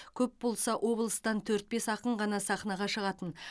көп болса облыстан төрт бес ақын ғана сахнаға шығатын